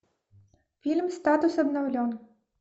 фильм статус обновлен